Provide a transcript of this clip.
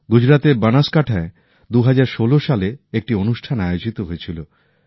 গুজরাতের বনাসকান্থায় ২০১৬ সালে একটি অনুষ্ঠান আয়োজিত হয়েছিল